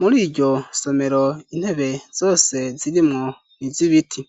muri iryo somero intebe zose zirimwo n'izibiti